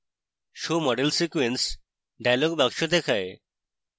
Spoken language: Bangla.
show model sequence dialog box দেখায়